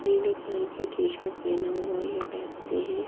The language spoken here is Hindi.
नीले कलर की टी शर्ट पहना हुआ ये व्यक्ति है।